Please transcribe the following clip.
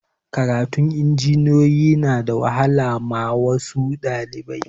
Karatun injiniyoyi na da wahala ma wasu ɗalibai